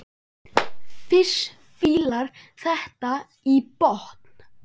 Fis fílar þetta í botn!